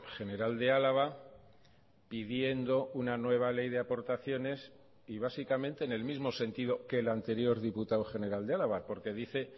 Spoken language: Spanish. general de álava pidiendo una nueva ley de aportaciones y básicamente en el mismo sentido que el anterior diputado general de álava porque dice